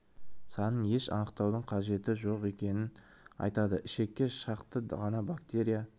санын еш анықтаудың қажеті жоқ екенін айтады ішекке шақты ғана бактерия